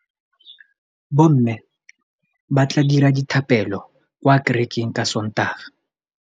Bommê ba tla dira dithapêlô kwa kerekeng ka Sontaga.